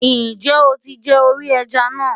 Ǹjẹ́ o ti jẹ orí ẹja náà?